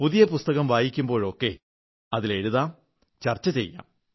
പുതിയ പുസ്തകം വായിക്കുമ്പോഴൊക്കെ അതിൽ എഴുതാം ചർച്ച ചെയ്യാം